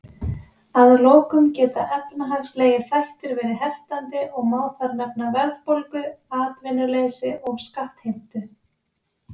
Að lokum geta efnahagslegir þættir verið heftandi og má þar nefna verðbólgu, atvinnuleysi og skattheimtu.